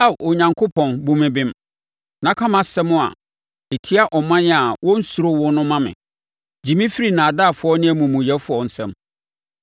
Ao Onyankopɔn, bu me bem, na ka mʼasɛm a ɛtia ɔman a wɔnnsuro wo no ma me; gye me firi nnaadaafoɔ ne amumuyɛfoɔ nsam.